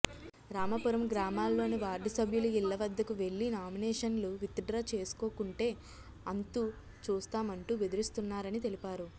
రామాపురం గ్రామాల్లోని వార్డు సభ్యుల ఇళ్ల వద్దకు వెళ్లి నామినేషన్లు విత్డ్రా చేసుకోకుంటే అంతు చూస్తామంటూ బెదిరిస్తున్నారని తెలిపారు